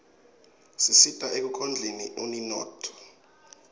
tisita ekukhldeni uninotfo